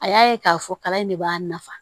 A y'a ye k'a fɔ kalan in de b'a nafa